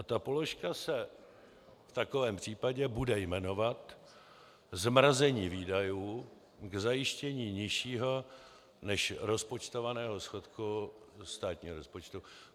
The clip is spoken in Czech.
A ta položka se v takovém případě bude jmenovat zmrazení výdajů k zajištění nižšího než rozpočtovaného schodku státního rozpočtu.